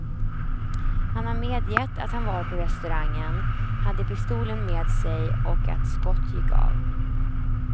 Han har medgett att han var på restaurangen, hade pistolen med sig och att skott gick av.